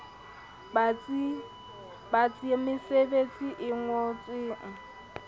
batsi a mesebetsi e ngolwang